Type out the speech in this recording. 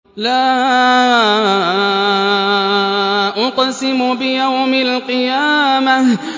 لَا أُقْسِمُ بِيَوْمِ الْقِيَامَةِ